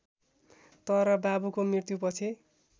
तर बाबुको मृत्युपछि